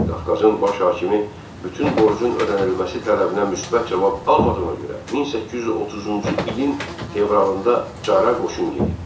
Qafqazın baş hakimi bütün borcun ödənilməsi tələbinə müsbət cavab almadığına görə 1830-cu ilin fevralında Çara qoşun yeritdi.